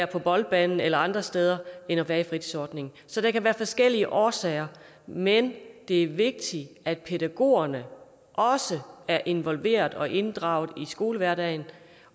på boldbanen eller andre steder end at være i fritidsordningen så der kan være forskellige årsager men det er vigtigt at pædagogerne også er involveret og inddraget i skoledagen